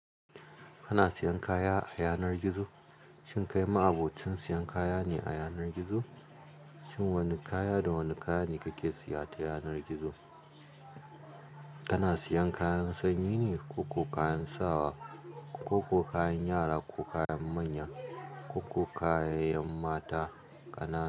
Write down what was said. Kana siyan kaya a yanar gizo? Shin kai ma'abocin siyan kaya ne a yanar gizo? Shin wane kaya da wane kaya ne kake siya ta yanar gizo? Kana siyan kayan sanyi ne ko kayan sawa ko kayan yara ko kayan manya ko kayayyen mata kana.